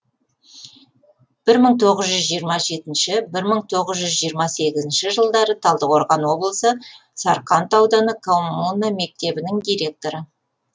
бір мың тоғыз жүз жиырма жетінші бір мың тоғыз жүз жиырма сегізінші жылдары талдықорған облысы сарқанд ауданы коммуна мектебінің директоры